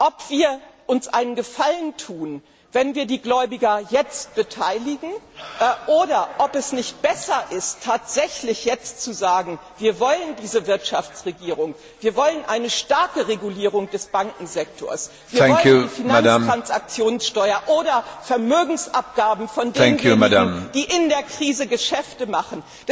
Ob wir uns einen Gefallen tun, wenn wir die Gläubiger jetzt beteiligen, oder ob es nicht besser ist, tatsächlich jetzt zu sagen Wir wollen diese Wirtschaftsregierung, wir wollen eine starke Regulierung des Bankensektors, wir wollen die Finanztransaktionssteuer oder Vermögensabgaben von denjenigen, die in der Krise Geschäfte machen.